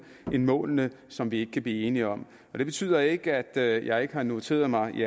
end målene som vi ikke kan blive enige om det betyder ikke at jeg ikke har noteret mig de